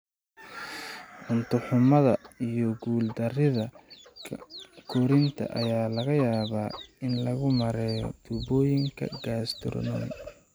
Cunto-xumada iyo guul-darrida korriinka ayaa laga yaabaa in lagu maareeyo tuubooyinka gastrostomy.